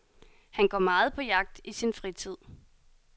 Han går meget på jagt i sin fritid.